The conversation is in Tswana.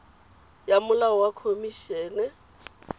ya molao wa khomi ene